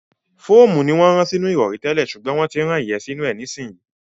Fóòmù ni wọ́n máa ń rán sínú ìrọ̀rí tẹ́lẹ̀ ṣùgbọ́n wọ́n ti ń rán ìyẹ́ sínú rẹ̀ nísìnyí.